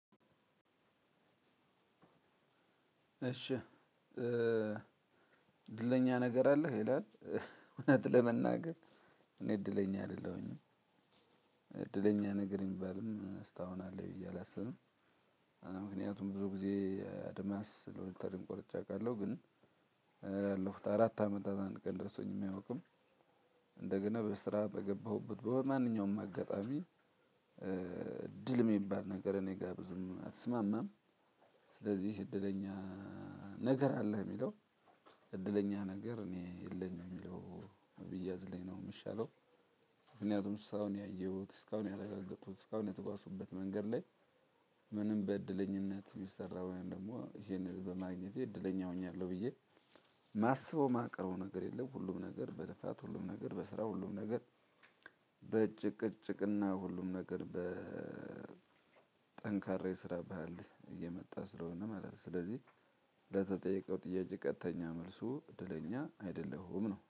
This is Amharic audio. እሺ እድለኛ ነገር አለህ ይላል እውነት ለመናገር እኔ እድለኛ አይደለሁም። እድለኛ ነገር የሚባልም እስካሁን አለ ብየ አላስብም። ምክንያቱም ብዙ ጊዜ አድማስ ሎተሪም ቆርጬ አውቃለሁ። ላለፉት አራት አመታት አንድ ቀን ደርሶኝም አያውቅም። እንደገና በስራ በገባሁበት በማንኛውም አጋጣሚ እድል የሚባል ነገር እኔ ጋር ብዙም አትስማማም። ስለዚህ እድለኛ ነገር አለህ የሚለው እድለኛ ነገር እኔ የለኝም የሚለው ቢያዝልኝ ነው የሚሻለው። ምክንያቱም ስራውን ያየሁት እስካሁን ያላጋገጡት እስካሁን የተጓዝኩበት መንገድ ላይ። ምንም በእድለኛነት የሚሰራውን ደግሞ ይሄን በማግኘቴ እድለኛ ሆኛለሁ ብዬ የማስበው የማቀርበው ነገር የለም። ሁሉም ነገር በልፋት ሁሉም ነገር በስራ ሁሉም ነገር በጭቅጭቅና ሁሉም ነገር በጠንካራ የስራ ባህል የመጣ ስለሆነ ማለት ነው። ስለዚህ ለተጠየቀው ጥያቄ ቀጥተኛ መልሱ እድለኛ አይደለሁም ነው